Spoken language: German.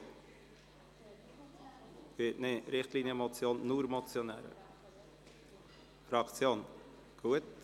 Zu Richtlinienmotionen können sich nur Motionäre äussern.